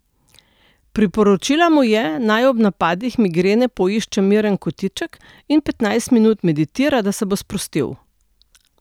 Priporočila mu je, naj ob napadih migrene poišče miren kotiček in petnajst minut meditira, da se bo sprostil.